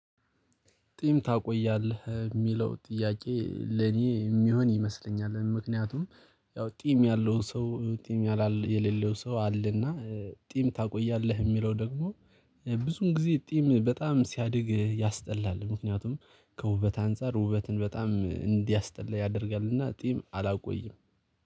ጽም ታቆያለህ የሚለው ጥያቄ ለኔ የሚሆን ይመስለኛል ምክንያቱም ያው ጽም ያለው ሰው ጽም ያለለ የሌለው ሰው አለና። ጽም ታቆያለህ የሚለው ደግሞ ብዙን ጊዜ ጽም በጣም ሲያድግ ያስጠላል። ምክንያቱም ከውበት አንፃር ውበትን በጣም እንዲያስጠላ ያደርጋልና ጽም አላቆይም